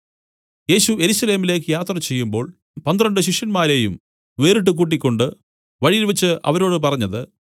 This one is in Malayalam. യേശു യെരൂശലേമിലേക്ക് യാത്ര ചെയ്യുമ്പോൾ പന്ത്രണ്ട് ശിഷ്യന്മാരെയും വേറിട്ടു കൂട്ടിക്കൊണ്ട് വഴിയിൽവെച്ചു അവരോട് പറഞ്ഞത്